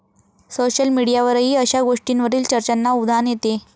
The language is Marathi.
सोशल मिडीयावरही अशा गोष्टींवरील चर्चांना उधाण येते.